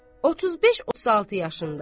35-36 yaşında.